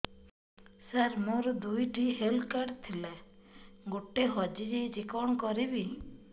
ସାର ମୋର ଦୁଇ ଟି ହେଲ୍ଥ କାର୍ଡ ଥିଲା ଗୋଟେ ହଜିଯାଇଛି କଣ କରିବି